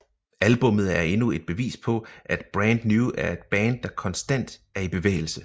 Albummet er endnu et bevis på at Brand New er et band der konstant er i bevægelse